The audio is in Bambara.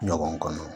Ɲɔgɔn kɔnɔ